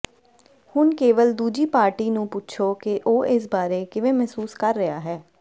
ਹੁਣ ਕੇਵਲ ਦੂਜੀ ਪਾਰਟੀ ਨੂੰ ਪੁੱਛੋ ਕਿ ਉਹ ਇਸ ਬਾਰੇ ਕਿਵੇਂ ਮਹਿਸੂਸ ਕਰ ਰਿਹਾ ਹੈ